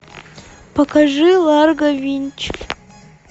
покажи ларго винч